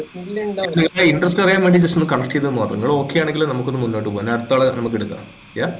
നിങ്ങളെ interest അറിയാൻ വേണ്ടി just ഒന്ന് connect ചെയ്തുന്നു മാത്രം ങ്ങള് okay ആണെങ്കിൽ നമ്മക്കൊന്നു മുന്നോട് പോകാം ഞാൻ അടുത്താളെ നമ്മക്ക്ക് എടുക്കാം yah